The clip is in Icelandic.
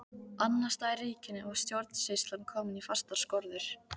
Annars staðar í ríkinu var stjórnsýslan komin í fastar skorður.